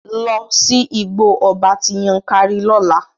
Lọ sí Igbó ọba ti Yankari lọ́la!